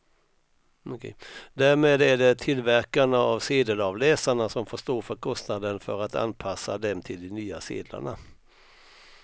Därmed är det tillverkarna av sedelavläsarna som får stå för kostnaden för att anpassa dem till de nya sedlarna.